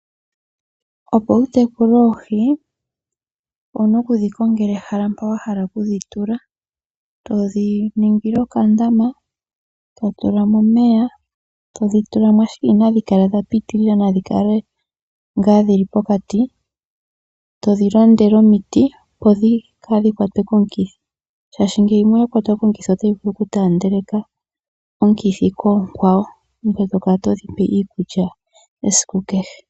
Opo wu tekule oohi owu na oku dhi kongela ehala mpa wa hala okudhi tula. To dhi ningile okandama to tula mo omeya, to dhi tula mo, ashike inadhi kala dha pitilila nadhi kale ngaa dhi li pokati, to dhi landele omiti, opo kaadhi kwatwe komikithi, shaashi yimwe ngele oya kwatwa komukithi otayi vulu okutaandeleka omukithi koonkwawo. Ngoye to kala todhi pe iikulya esiku kehe.